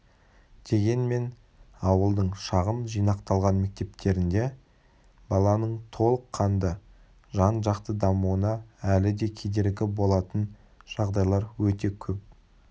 дегенмен ауылдың шағын жинақталған мектептерінде баланың толыққанды жан-жақты дамуына әлі де кедергі болатын жағдайлар өте көп